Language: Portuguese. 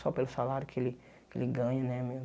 Só pelo salário que ele que ele ganha, né?